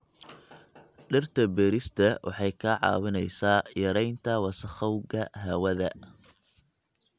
Dhirta beerista waxay kaa caawinaysaa yaraynta wasakhowga hawada.